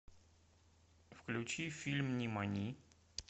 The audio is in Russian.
включи фильм нимани